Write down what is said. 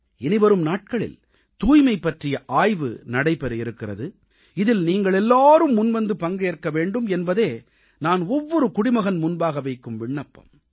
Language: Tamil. இனிவரும் நாட்களில் தூய்மை பற்றிய ஆய்வு நடைபெற இருக்கிறது இதில் நீங்களெல்லாரும் முன்வந்து பங்கேற்க வேண்டும் என்பதே நான் ஒவ்வொரு குடிமகன் முன்பாக வைக்கும் விண்ணப்பம்